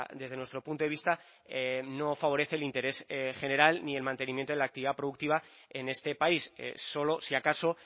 desde nuestro punto de vista no favorece el interés general ni el mantenimiento de la actividad productiva en este país solo si acaso